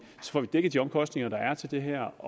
dækket de omkostninger der er til det her